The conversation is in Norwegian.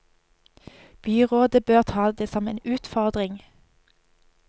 Byrådet bør ta det som en utfordring.